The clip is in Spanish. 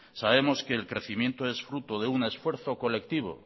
sabemos que el crecimiento es fruto de un esfuerzo colectivo